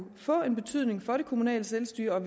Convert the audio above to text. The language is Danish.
få en betydning for det kommunale selvstyre og at